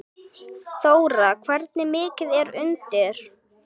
Þóra: Hversu mikið er undir?